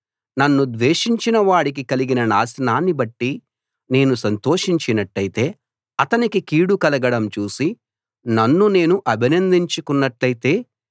నన్ను ద్వేషించిన వాడికి కలిగిన నాశనాన్ని బట్టి నేను సంతోషించినట్టయితే అతనికి కీడు కలగడం చూసి నన్ను నేను అభినందించుకున్నట్టయితే